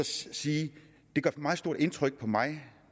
sige at det gør meget stort indtryk på mig